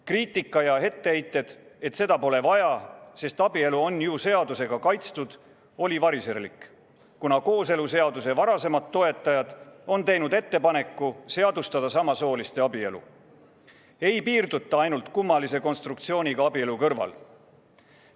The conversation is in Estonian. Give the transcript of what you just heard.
Kriitika ja etteheited, et seda pole vaja, sest abielu on seadusega kaitstud, olid variserlikud, kuna kooseluseaduse varasemad toetajad on teinud ettepaneku seadustada samasooliste abielu, ei piirduta ainult kummalise konstruktsiooniga abielu kõrval.